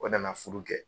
O nana furu kɛ